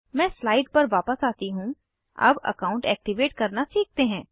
मैं स्लाइड पर वापस आती हूँ अब अकाउंट एक्टिवेट करना सीखते हैं